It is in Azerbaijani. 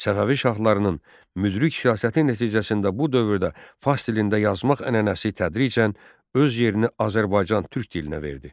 Səfəvi şahlarının müdrik siyasəti nəticəsində bu dövrdə fars dilində yazmaq ənənəsi tədricən öz yerini Azərbaycan Türk dilinə verdi.